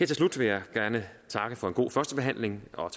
til slut vil jeg gerne takke for en god førstebehandling og